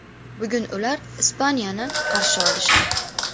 Bugun ular Ispaniyani qarshi olishdi.